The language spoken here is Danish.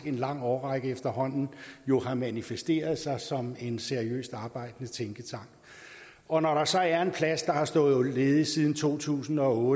lang årrække efterhånden har manifesteret sig som en seriøst arbejdende tænketank og når der så er en plads der har stået ledig siden to tusind og otte